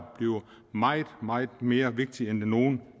bliver meget meget mere vigtigt end det nogen